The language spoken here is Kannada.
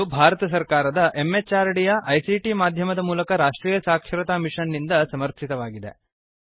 ಇದು ಭಾರತ ಸರ್ಕಾರದ MHRDಯ ICTಮಾಧ್ಯಮದ ಮೂಲಕ ರಾಷ್ಟ್ರೀಯ ಸಾಕ್ಷರತಾ ಮಿಷನ್ ನಿಂದ ಸಮರ್ಥಿತವಾಗಿದೆ